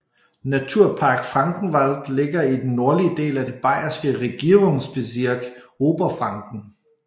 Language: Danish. Naturpark Frankenwald ligger i den nordlige del af det bayerske regierungsbezirk Oberfranken